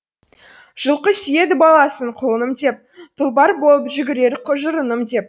жылқы сүйеді баласын құлыным деп тұлпар болып жүгірер жұрыным деп